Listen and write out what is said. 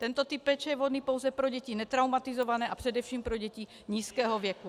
Tento typ péče je vhodný pouze pro děti netraumatizované a především pro děti nízkého věku.